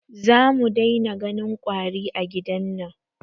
Za mu dai na ganin ƙwari a gidan nan